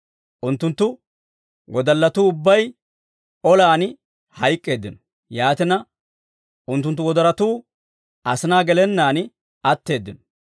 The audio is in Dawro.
Unttunttu wodallatuu ubbay olan hayk'k'eeddino; yaatina, unttunttu wodorotuu asinaa gelennaan atteeddino.